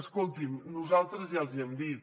escoltin nosaltres ja els hi hem dit